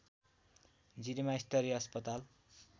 जिरीमा स्तरीय अस्पताल